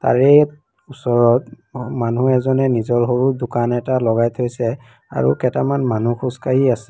তাৰে ওচৰত মানুহ এজনে নিজৰ সৰু দোকান এটা লগাই থৈছে আৰু কেইটামান মানুহ খোজকাঢ়ি আছে।